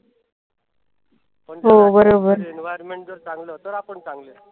हो बरोबर.